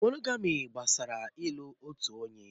Mónógamị́ gbasara ị́lu otu onye.